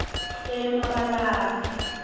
emabalave